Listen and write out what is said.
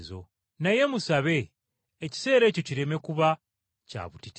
Naye musabe ekiseera ekyo kireme kuba kya butiti.